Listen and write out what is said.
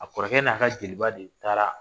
A kɔrɔkɛ n'a ka jeliba de taara